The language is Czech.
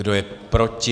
Kdo je proti?